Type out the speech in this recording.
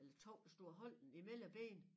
Eller 2 der stod og holdt den i mellem ben